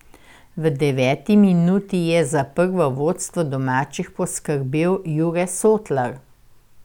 V deveti minuti je za prvo vodstvo domačih poskrbel Jure Sotlar.